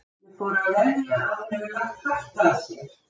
Ég þori að veðja að hann hefur lagt hart að sér.